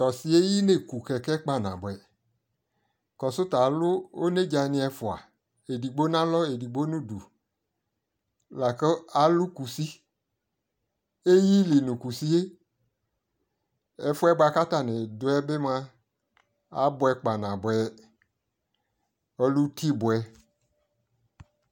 to ɔsiɛ eyi ne ku kɛkɛ kpa naboɛ, kɔsu ta alu onedza ni ɛfua edigbo no alɔ edigbo no udu la ko alu kusi, eyi ili no kusie ɛfoɛ boa ko atane doɛ moa aboɛ kpa naboɛ ɔlɛ uti boɛ